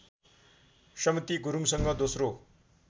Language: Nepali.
समती गुरुङसँग दोस्रो